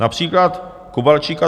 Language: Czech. Například Kovalčík a